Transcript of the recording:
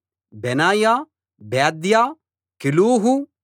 బెనాయా బేద్యా కెలూహు